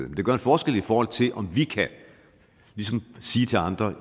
det gør en forskel i forhold til om vi kan sige til andre